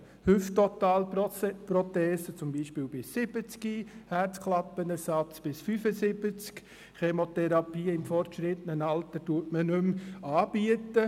Hüfttotalprothesen beispielsweise bis 70, Herzklappenersatz bis 75, Chemotherapie bietet man im fortgeschrittenen Alter nicht mehr an.